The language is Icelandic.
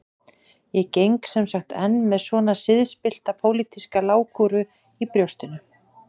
Ég geng sem sagt enn með svona siðspillta pólitíska lágkúru í brjóstinu.